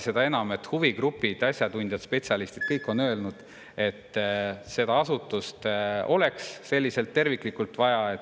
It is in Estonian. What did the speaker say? Seda enam, et huvigrupid, asjatundjad, spetsialistid – kõik on öelnud, et seda terviklikku asutust oleks vaja.